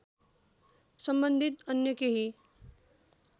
सम्बन्धित अन्य केही